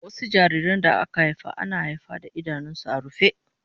Wasu jariran da aka haifa ana haifa da idanunsu a rufe